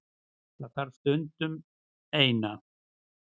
Það þarf stundum. Eina.